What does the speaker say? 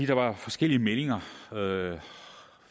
der var forskellige meldinger